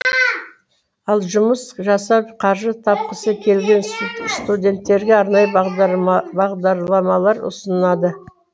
ал жұмыс жасап қаржы тапқысы келген студенттерге арнайы бағдарламалар ұсынады